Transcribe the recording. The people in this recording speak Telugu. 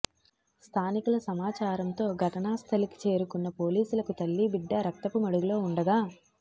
స్థానికుల సమాచారంతో ఘటనా స్థలికి చేరుకున్న పోలీసులకు తల్లీబిడ్డా రక్తపు మడుగులో ఉండగా